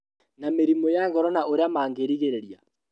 Ma mĩrimũ ya ngoro na ũrĩa mangĩrigĩrĩria